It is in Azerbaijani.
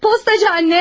Postacı anne.